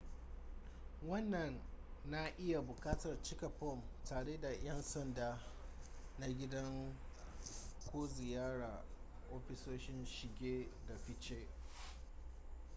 wannan na iya buƙatar cike fom tare da yan sanda na gida ko ziyarar ofisoshin shige da fice